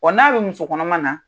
Wa n'a bɛ muso kɔnɔma na